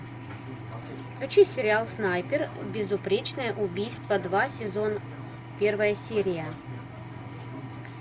включи сериал снайпер безупречное убийство два сезон первая серия